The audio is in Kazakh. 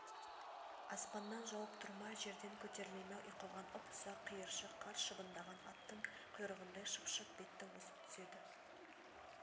аспаннан жауып тұр ма жерден көтеріле ме ұйтқыған ұп-ұсақ қиыршық қар шыбындаған аттың құйрығындай шып-шып бетті осып түседі